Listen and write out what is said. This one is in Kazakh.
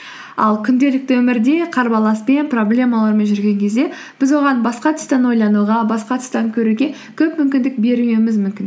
ал күнделікті өмірде қарбаласпен проблемалармен жүрген кезде біз оған басқа тұстан ойлануға басқа тұстан көруге көп мүмкіндік бермеуіміз мүмкін